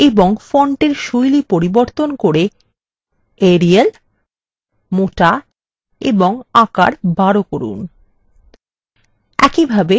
এবং ফন্টের style পরিবর্তন করে arial মোটা এবং আকার 12 করুন